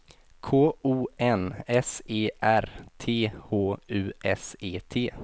K O N S E R T H U S E T